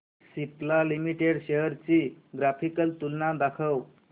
Cipla limited shares ची graphical तुलना दाखव